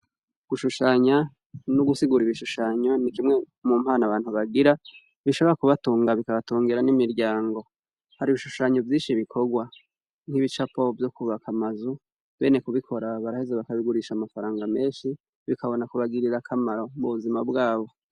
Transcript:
Gushushanya n' ugusigur' ibishushanyo ni kimwe mumpano abantu bagira, bishobora kubatunga bikabatungira n 'imiryango, har' ibishushanyo vyinshi bikorwa, nkibicapo vy' ukubak' amazu, bene kubikora baraheza bakabigurish' amafaranga menshi bikabona kubagirir' akamaro kubuzina bwabo.